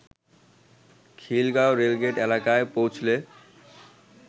Khilgaon rail gate এলাকায় পৌঁছলে